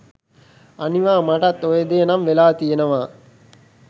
අනිවා මටත් ඔය දේ නම් වෙලා තියනවා.